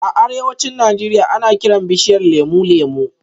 A arewacin Najeriya, ana kiran bishiyar lemu "Lemu"